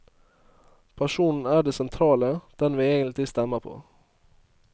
Personen er det sentrale, den vi egentlig stemmer på.